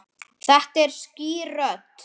Svo var það ekki meira.